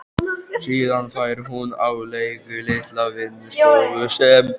Síðan fær hún á leigu litla vinnustofu sem